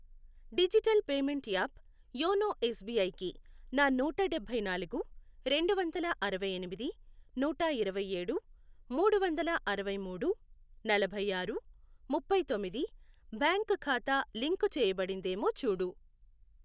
Digital payment app YONO S B I కి నా నూట డబ్బై నాలుగు, రెండువందల అరవై ఎనిమిది, నూట ఇరవైఏడు, మూడువందల అరవై మూడు, నలభై ఆరు, ముప్పై తొమ్మిది, బ్యాంక్ ఖాతా లింకు చేయబడిందేమో చూడు.